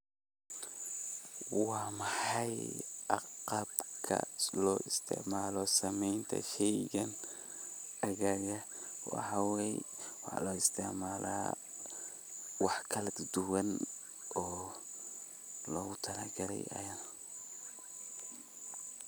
Waa maxay agabka loo isticmaalo samaynta shaygan aaggaaga waxawaye waxa lo istacmala wax kala duduban oo lowga talagalaay ayaa.